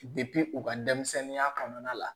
u ka denmisɛnninya kɔnɔna la